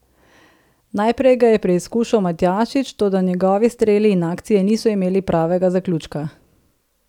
Najprej ga je preizkušal Matjašič, toda njegovi streli in akcije niso imeli pravega zaključka.